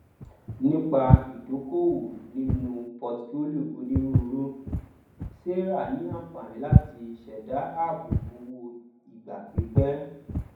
nípa ìdókòowó nínú portfolio onírùurù sarah ní àǹfààní láti ṣẹdá ààbò owó ìgbà pípẹ